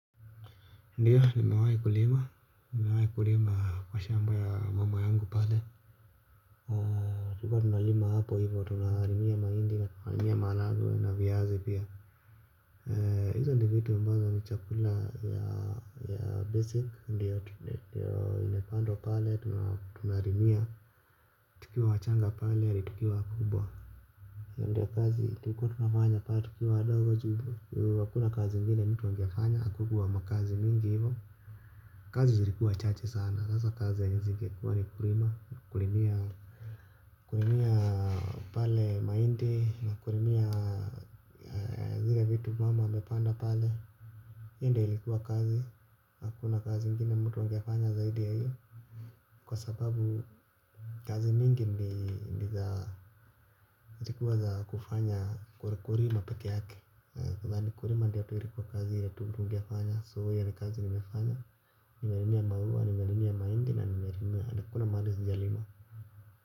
Ndiyo nimewahi kulima, nimewahi kulima kwa shamba ya mama yangu pale. Tulikuwa tunalima hapo hivyo, tunalimia mahindi, tunalimia maharagwe na viazi pia. Hizo ndio vitu ambazo ni chakula ya basic, imepandwa pale, tunalimia, tukiwa wachanga pale, tukiwa wakubwa hio. Ndiyo kazi, tulikwa tunafanya pale, tukiwa wadogo ju, hakuna kazi ingine mtu angefanya, hakukuwa makazi mingi hivyo. Kazi zilikuwa chache sana. Sasa kazi saizi ingekuwa ni kulima. Kulimia pale mahindi. Kulimia zile vitu mama amepanda pale. Hio ndo ilikuwa kazi. Hakuna kazi ingine mtu angefanya zaidi ya hiyo. Kwa sababu kazi mingi zilikuwa za kufanya kulimia peke yake. Kwanza nyingi zikuwa za kufanya kurimia peke yake. Kwa za nyingi zikuwa kazi ya tumutu wangiafanya. So ya kazi nimefanya. Nimerimia mahuwa, nimerimia maindi na nimerimia. Nakuna madu zijalima.